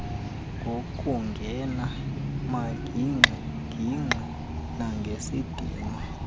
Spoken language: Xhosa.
ngokungena magingxigingxi nangesidima